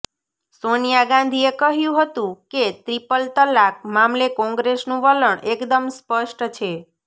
સોનિયા ગાંધીએ કહ્યું હતું કે ટ્રિપલ તલાક મામલે કોંગ્રેસનું વલણ એકદમ સ્પષ્ટ છે